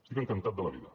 estic encantat de la vida